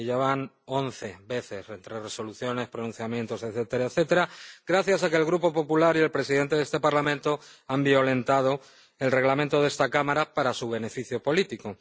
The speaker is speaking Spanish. Y ya van once veces entre resoluciones, pronunciamientos, etcétera, etcétera, gracias a que el Grupo PPE y el presidente de este Parlamento han violentado el Reglamento de esta Cámara para su beneficio político.